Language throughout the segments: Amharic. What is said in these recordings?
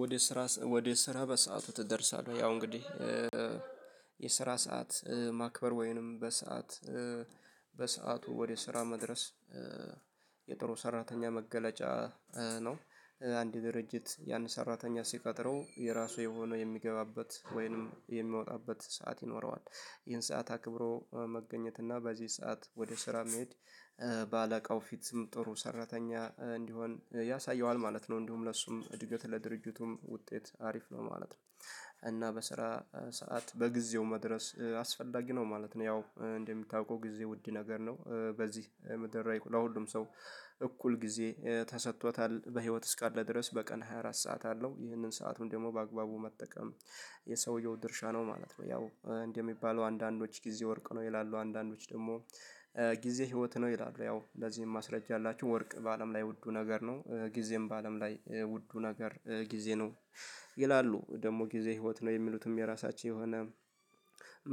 ወደ ስራ ወደ ስራ በሰአቱ ትደርሳለህ ያው እንግዲህ የስራ ሰዓት ማክበር ወይንም በሰአት በሰአቱ ወደ ስራ መድረስ የጥሩ ሰራተኛ መገለጫ ነው። አንድ ድርጅት የአንድ ሰራተኛ ሲቀጥረው የራሱ የሆነው የሚገባበት ወይንም የሚወጣበት ሰዓት ይኖረዋል ይህን ሰዓት አክብሮ መገኘት እና በዚህ ሰዓት ወደ ስራ መሄድ በአለቃው ፊትም ጥሩ ሰራተኛ እንዲሆን ያሳየዋል ማለት ነው እንዲሁም ለእሱም እድገት ለድርጅቱም ውጤት አሪፍ ነው ማለት ነው። እና በስራ ሰዓት በጊዜው መድረስ አስፈላጊ ነው ማለት ነው ያው እንደምታውቀው ጊዜ ውድ ነገር ነው። በዚህ ለሁሉም ሰው እኩል ጊዜ ተሰጥቶታል በህይወት እስካለ ድረስ በቀን 24 ሰዓት አለው ይህንን ሰአቱን ደግሞ በአግባቡ መጠቀም የሰውየው ድርሻ ነው ማለት ነው። ያው እንደሚባሉ አንዳንዶች ጊዜ ወርቅ ነው ይላሉ አንዳንዶች ደግሞ ጊዜ ህይወት ነው ይላሉ። ያው እንደዚህም ማስረጃ ያላችሁ ወርቅ በአለም ላይ ውዱ ነገር ነው። ጊዜም በአለም ላይ ውዱ ነገር ጊዜ ነው። ይላሉ ደግሞ ጊዜ ህይወት ነው የሚሉትም የራሳችን የሆነ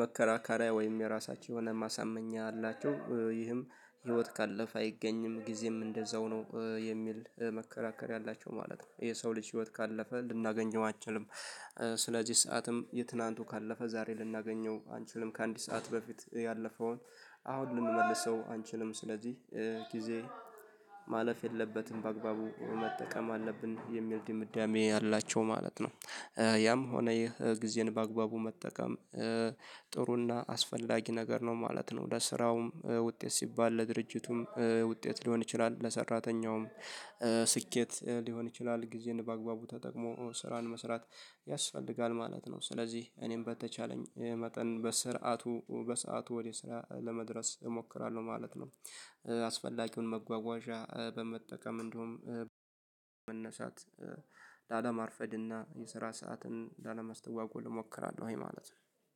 መከራከሪያ ወይም የራሳቸውን ማሳመኛ አላቸው። ይህም ህይወት ካለፍ አይገኝም ጊዜም እንደዛው ነው የሚል መከራከር ያላቸው ማለት ነው። ይሄ ሰው ልጅ ህይወት ካለፈ ልናገኘው አንችልም። ስለዚህ ሰዓትም የትናንቱ ካለፈ ዛሬ ልናገኘው አንችልም ከአንድ ሰዓት በፊት ያለፈውን። አሁን ልንመልሰው አንችልም ስለዚህ ጊዜ ማለፍ የለበትም በአግባቡ መጠቀም አለብን የሚል ድምዳሜ አላቸው ማለት ነው። ያም ሆነ ይሄ ጊዜን በአግባቡ መጠቀም ጥሩና አስፈላጊ ነገር ነው ማለት ነው። ለስራውም ውጤት ሲባል ለድርጅቱም ውጤት ሊሆን ይችላል። ለሰራተኛውም ስኬት ሊሆን ይችላል። ጊዜን በአግባቡ ተጠቅሞ ስራን መስራት ያስፈልጋል ማለት ነው። ስለዚህ እኔም በተቻለኝ መጠን በስርዓቱ በሰአቱ ወደ ስራ ለመድረስ እሞክራለሁ ማለት ነው። አስፈላጊውን መጓጓዣ በመጠቀም እንዲሁም መነሳት ላለማርፈድና የስራ ሰዓትን ላለማስተዋጎል እሞክራለሁ ይሄ ማለት ነው።